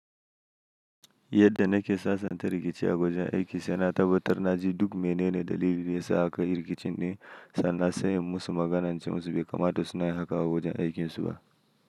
Yadda nake sasanta rikici a wajen aikin saina tabatar na ji duk mene ne dalilin da ya sa aka yi rikicin din, sannan se inyi musu magana ince musu, bai kamata su na yi haka a wajen aikin su ba.